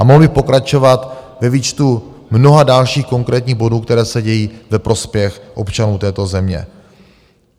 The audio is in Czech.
A mohl bych pokračovat ve výčtu mnoha dalších konkrétních bodů, které se dějí ve prospěch občanů této země.